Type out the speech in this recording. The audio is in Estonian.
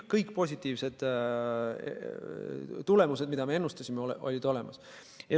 Kõik positiivsed tulemused, mida me ennustasime, olid olemas.